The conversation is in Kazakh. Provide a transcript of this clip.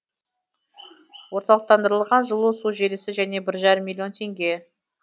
орталықтандырылған жылу су желісі және бір жарым миллион теңге